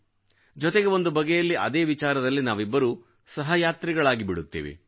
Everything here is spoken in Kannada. ಜೊತೆಗೆ ಒಂದು ಬಗೆಯಲ್ಲಿ ಅದೇ ವಿಚಾರದಲ್ಲಿ ನಾವಿಬ್ಬರೂ ಸಹಯಾತ್ರಿಗಳಾಗಿಬಿಡುತ್ತೇವೆ